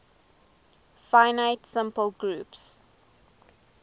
finite simple groups